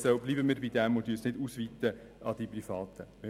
Verbleiben wir dabei und weiten wir das nicht an die Privaten aus.